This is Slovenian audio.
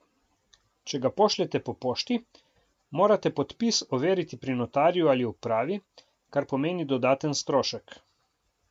Če ga pošljete po pošti, morate podpis overiti pri notarju ali upravi, kar pomeni dodaten strošek.